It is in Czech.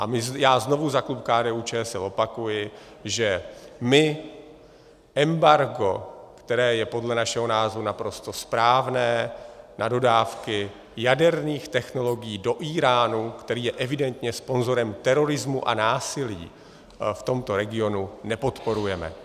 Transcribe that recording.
A já znovu za klub KDU-ČSL opakuji, že my embargo, které je podle našeho názoru naprosto správné na dodávky jaderných technologií do Íránu, který je evidentně sponzorem terorismu a násilí, v tomto regionu nepodporujeme.